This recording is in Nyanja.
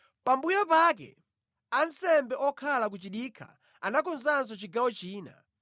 Pambuyo pake ansembe okhala ku chidikha anakonzanso chigawo china.